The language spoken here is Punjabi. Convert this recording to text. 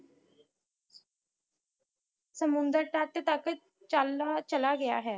ਸਮੁੰਦਰ ਤੱਟ ਤਕ ਚਲ ਚਲਾ ਗਿਆ ਹੈ